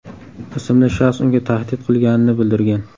ismli shaxs unga tahdid qilganini bildirgan.